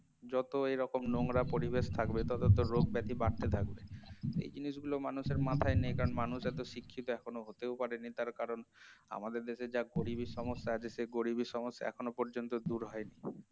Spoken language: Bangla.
যত এরকম নোংরা পরিবেশ থাকবে তত তো রোগ ব্যাধি বাড়তে থাকবে এই জিনিসগুলো মানুষের মাথায় নেই কারণ মানুষ এত শিক্ষিত এখনো হতেও পারেনি তার কারণ আমাদের দেশে যা গরিবের সমস্যা আছে এখন সেই গরিবের সমস্যা এখনো পর্যন্ত দূর হয়নি